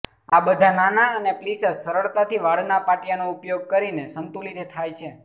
આ બધા નાના અને પ્લીસસ સરળતાથી વાળના પાટિયાંનો ઉપયોગ કરીને સંતુલિત થાય છે